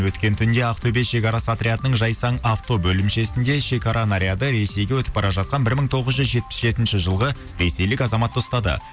өткен түнде ақтөбе шекарасы отрядының жайсан авто бөлімшесінде шекара наряды ресейге өтіп бара жатқан бір мың тоғыз жүз жетпіс жетінші жылғы ресейлік азаматты ұстады